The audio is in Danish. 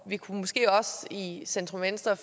vi kunne måske også i centrum venstre